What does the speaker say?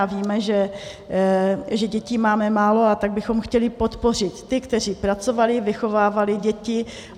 A víme, že dětí máme málo, tak bychom chtěli podpořit ty, kteří pracovali a vychovávali děti.